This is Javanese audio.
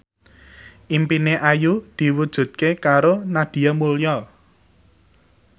impine Ayu diwujudke karo Nadia Mulya